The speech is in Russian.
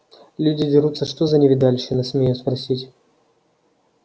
люди дерутся что за невидальщина смею спросить